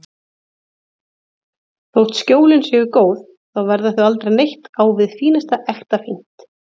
Þótt Skjólin séu góð, þá verða þau aldrei neitt á við fínasta ekta fínt.